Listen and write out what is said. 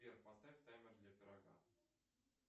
сбер поставь таймер для пирога